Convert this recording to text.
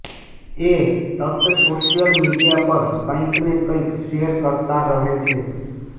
એ તત social media પર કંઇને કંઇ શેર કરતા રહે છે